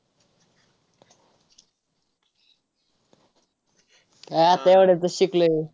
आता एवढंच तर शिकलोय.